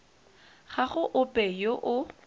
ga go ope yo o